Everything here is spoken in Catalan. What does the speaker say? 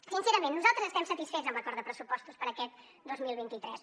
sincerament nosaltres estem satisfets amb l’acord de pressupostos per a aquest dos mil vint tres